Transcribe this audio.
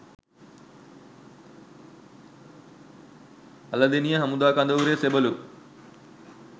අලදෙණිය හමුදා කඳවුරේ සෙබළු